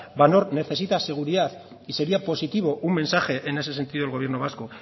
van oord necesita seguridad y sería positivo un mensaje en ese sentido del gobierno vasco